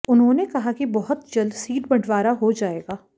उन्होंने कहा कि बहुत जल्द सीट बंटवारा हो जाएगा